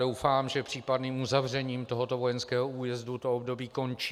Doufám, že případným uzavřením tohoto vojenského újezdu toto období končí.